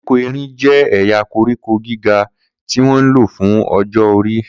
Koríko erin jẹ́ ẹ̀yà koríko gíga tí wọ́n ń lò fún ọjọ́ orí.